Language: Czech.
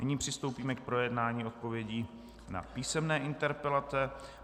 Nyní přistoupíme k projednání odpovědí na písemné interpelace.